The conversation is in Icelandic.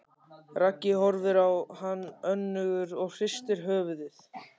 Raggi horfir á hann önugur og hristir höfuðið.